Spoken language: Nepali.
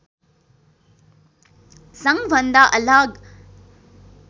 सङ्घभन्दा अलग